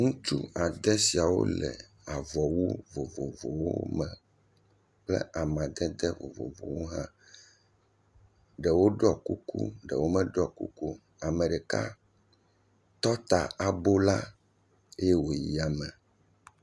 Ŋutsu ade siawo le avɔwu vovovowo me kple amadede vovovowo hã. Ɖewo ɖiɔ kuku ɖewo meɖiɔ kuku o. Ame ɖeka tɔ ta abola eye wòyi yame.